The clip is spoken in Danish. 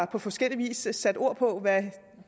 på forskellig vis har sat ord på hvad